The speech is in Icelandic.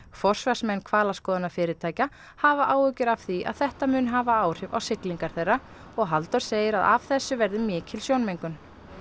forsvarsmenn hvalaskoðunarfyrirtækja hafa áhyggjur af því að þetta muni hafa áhrif á siglingar þeirra og Halldór segir að af þessu verði mikil sjónmengun